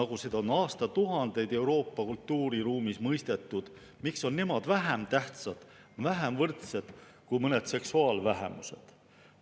nagu on aastatuhandeid Euroopa kultuuriruumis mõistetud, vähem tähtsad, vähem võrdsed kui mõned seksuaalvähemused?